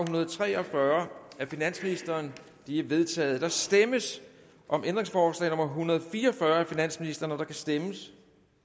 hundrede og tre og fyrre af finansministeren de er vedtaget der stemmes om ændringsforslag nummer en hundrede og fire og fyrre af finansministeren der kan stemmes